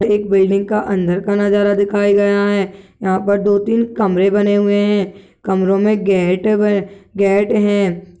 एक बिल्डिंग का अंदर का नजारा दिखाया गया है यहां पर दो-तीन कमरे बने हुए हैं कमरों में गेट ब गेट है।